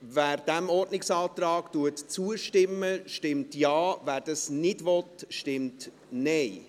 Wer diesem Ordnungsantrag zustimmt, stimmt Ja, wer das nicht will, stimmt Nein.